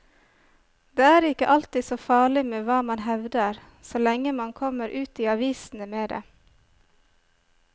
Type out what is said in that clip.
Det er ikke alltid så farlig med hva man hevder, så lenge man kommer ut i avisene med det.